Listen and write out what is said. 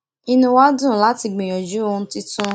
inú wa dùn láti gbìyànjú ohun tuntun